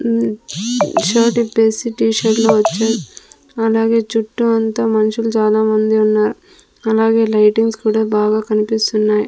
మ్ shirt విప్పేసి T-shirt లో వచ్చారు అలాగే చుట్టూ అంతా మనుషులు చాలా మంది ఉన్నారు. అలాగే లైటింగ్స్ కూడా బాగా కన్పిస్తున్నాయి .